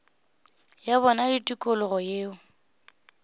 ya bona le tikologo yeo